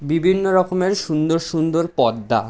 বিভিন্ন রকমের সুন্দর সুন্দর পর্দা ।